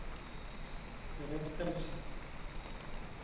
berättelse